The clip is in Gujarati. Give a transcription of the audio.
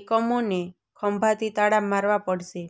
એકમોને ખંભાતી તાળાં મારવાં પડશે